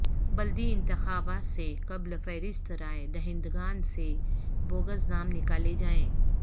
بلدی انتخابات سے قبل فہرست رائے دہندگان سے بوگس نام نکالے جائیں